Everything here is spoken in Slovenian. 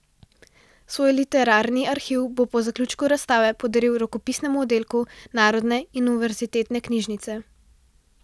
Svoj literarni arhiv bo po zaključku razstave podaril Rokopisnemu oddelku Narodne in univerzitetne knjižnice.